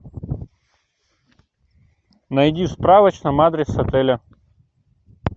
найди в справочном адрес отеля